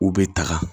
U bɛ taga